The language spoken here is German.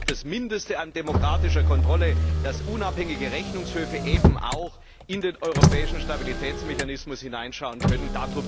Das ist doch das Mindeste an demokratischer Kontrolle, dass unabhängige Rechnungshöfe in den Europäischen Stabilitätsmechanismus hineinschauen können.